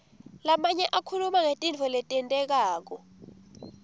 lamanye akhuluma ngetintfo letentekako